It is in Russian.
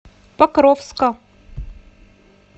покровска